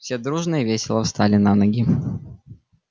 все дружно и весело встали на ноги